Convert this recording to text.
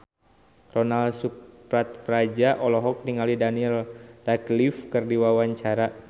Ronal Surapradja olohok ningali Daniel Radcliffe keur diwawancara